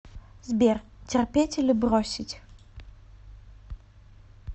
сбер терпеть или бросить